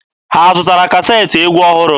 Ha zụtara kaseetị egwu ọhụrụ?